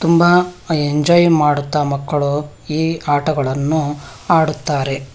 ತುಂಬಾ ಎಂಜಾಯ್ ಮಾಡುತ್ತಾ ಮಕ್ಕಳು ಈ ಆಟಗಳನ್ನು ಆಡುತ್ತಾರೆ.